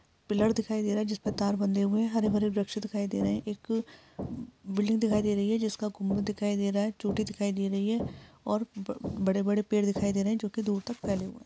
Pillar दिखाई दे रहा हैं जिस पर तार बंधे हुए हैं हरे - भरे वृक्ष दिखाई दे रहे हैं एक बिल्डिंग दिखाई दे रही है जिस का गुंबद दिखाई दे रहा है चोटी दिखाई दे रही है और बड़े - बड़े पेड़ दिखाई दे रहे हैं जो दूर तक फैले हुए हैं।